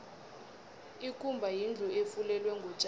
ikumba yindlu efulelwe ngotjani